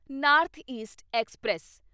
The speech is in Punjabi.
north east express